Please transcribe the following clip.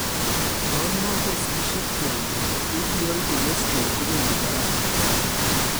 Yan magosigisie kwonyik , ldl cholesterol kobendi barak missing